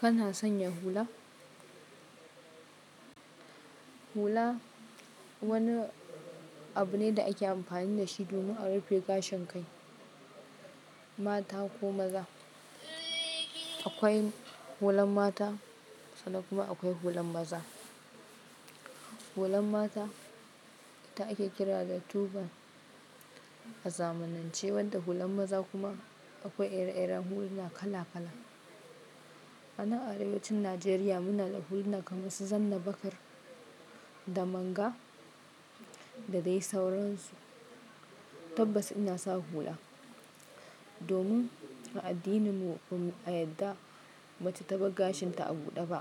Kana sanya hula? Hula wani abu ne da ake amfani da shi domin a rufe gashin kai. Mata ko maza. Akwai hulan mata sannan kuma akwai hulan maza. Hulan mata ita ake kira da turban a zamanance, wanda hulan maza kuma akwai ire-iren huluna kala kala. Anan arewacin Najeriya muna da huluna kamar su Zanna Bakar, Damanga da dai sauransu. Tabbas ina sa hula domin a addininmu ba'a yadda mace ta bar gashinta a buɗe ba.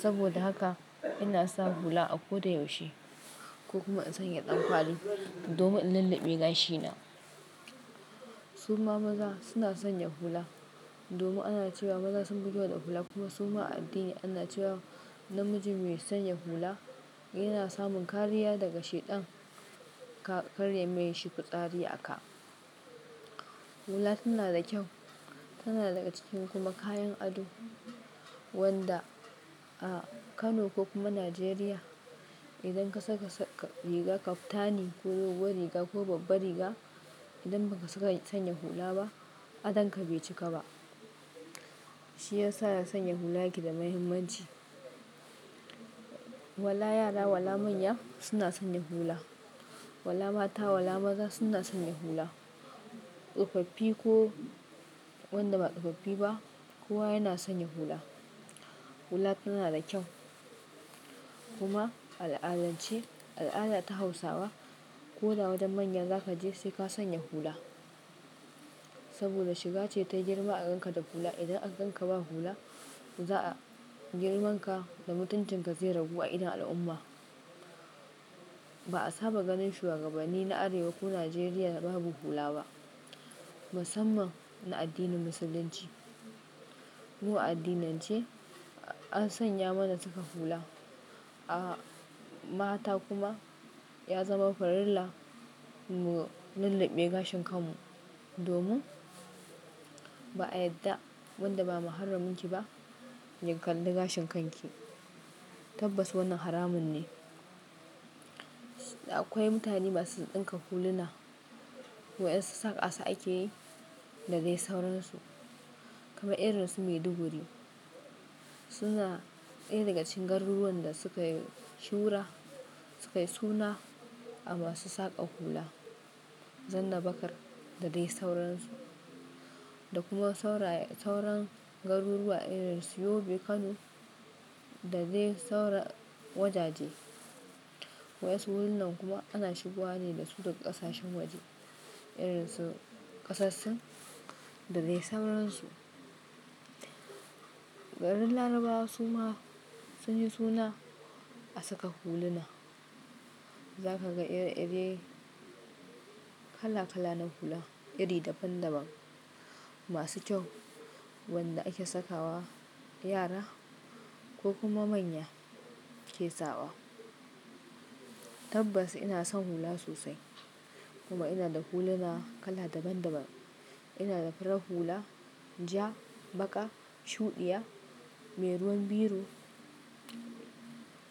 Saboda haka ina sa hula a koda yaushe ko kuma in sanya ɗan kwali domin in lulluɓe gashina. Su ma maza suna sanya hula domin ana cewa maza sun fi kyau da hula kuma su ma a addini ana cewa namiji mai sanya hula yana samun kariya daga Shaiɗan, ka kar yayi mashi fitsari a ka. Hula tana da kyau, tana daga cikin kuma kayan ado wanda a Kano ko kuma Najeriya idan ka saka riga kaftani ko roba riga ko babba riga, idan ba ka saka sanya hula ba adanka bai cika ba. Shi ya sa sanya hula yake da muhimmanci. Wala yara wala manya suna sanya hula. Wala mata wala maza suna sanya hula. Tsofaffi ko wanda ba tsofaffi ba kowa yana sanya hula. Hula tana da kyau kuma a al'adance, a al'ada ta hausawa, ko da wajen manya za ka je sai ka sanya hula. Saboda shiga ce ta yi girma a ganka da hula. Idan aka ganka ba hula za a girman ka da mutuncin ka zai ragu a idon al'umma. Ba a saba ganin shuwagabanni na arewa ko Najeriya babu hula ba, musamman na addinin Musulunci. Mu addinan ce an sanya mana saka hula. A mata kuma ya zama farilla mu lulluɓe gashin kan mu domin ba a yadda wanda ba maharramin ki ba ya kalli gashin kan ki. Tabbas wannan haramun ne. Akwai mutane masu ɗinka huluna wa'yansu saƙa su ake yi da dai sauransu. Kamar irin su Maiduguri suna iri daga cikin garuruwan da suka yi shura, suka yi suna a masu saƙa hula. Zanna Bakar da dai sauransu. Da kuma sauran garuruwa irin su Yobe, Kano da dai sauran wajaje. Wa'yansu hulunan kuma ana shigowa ne da su daga ƙasashen waje irin su ƙasar sin da dai sauransu. Garin Larabawa su ma sun yi suna a saka huluna. Za ka ga iri-ire kala-kala na hula iri daban-daban masu kyau wanda ake sakawa yara ko kuma manya ke saɓa. Tabbas ina son hula sosai kuma ina da huluna kala daban-daban. Ina da farar hula, ja, baƙa, shuɗiya, mai ruwan biro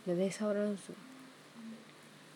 da dai sauransu.